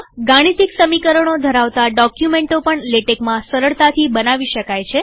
ગાણિતિક સમીકરણો ધરાવતા ડોકયુમેન્ટો પણ લેટેકમાં સરળતાથી બનાવી શકાય છે